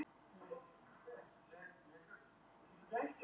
Til dæmis geta þær hitað vatn í glasi án þess að glasið hitni um leið.